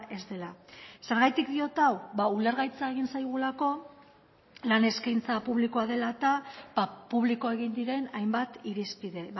ez dela zergatik diot hau ulergaitza egin zaigulako lan eskaintza publikoa dela eta publiko egin diren hainbat irizpide